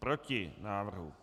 Proti návrhu.